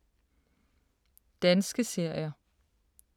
Danske serier